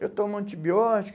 Eu tomo antibiótico.